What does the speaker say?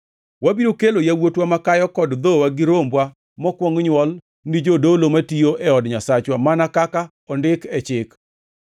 “Wabiro kelo yawuotwa makayo kod dhowa gi rombwa mokwong nywol ni jodolo matiyo e od Nyasachwa mana kaka ondik e Chik.